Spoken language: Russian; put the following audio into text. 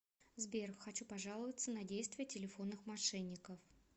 сбер хочу пожаловаться на действия телефонных мошенников